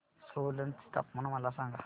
सोलन चे तापमान मला सांगा